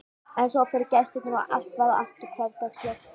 En svo fóru gestirnir og allt varð aftur hversdagslegt.